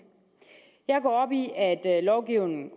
jeg går op i at at lovgivningen